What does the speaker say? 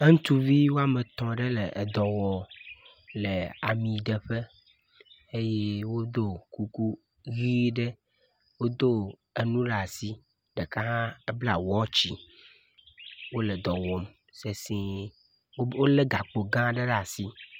Eŋutsuvi woame tɔ̃ ɖe le edɔ wɔm le amiɖeƒe eye wodo kuku ʋɛ̃ ɖe, wodo enu ɖe asi, ɖeka hã ebla wɔtsi, wole dɔ wɔm sesɛ̃e, wolé gakpo gã aɖe ɖe asi.